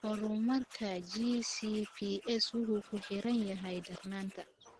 Horumarka GCPS wuxuu ku xiran yahay darnaanta.